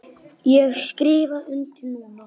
Ég skrifa undir núna.